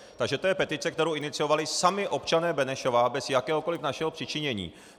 Takže to je petice, kterou iniciovali sami občané Benešova bez jakéhokoli našeho přičinění.